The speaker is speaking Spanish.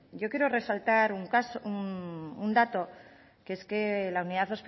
yo quiero resaltar un dato que es la unidad